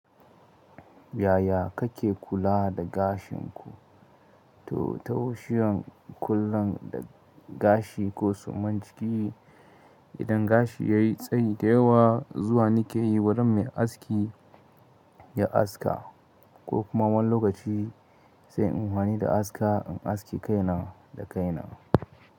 Yaya kake kula da gashin ku? To, ta wushiyan kula da gashi ko suman ciki, idan gashi ya yi tsayi da yawa zuwa ni ke yi wurin mai aski ya aska ko kuma wani lokaci sai in yi amfani da aska in aske kaina da kaina.